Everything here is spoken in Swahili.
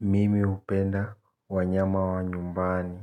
Mimi hupenda wanyama wa nyumbani.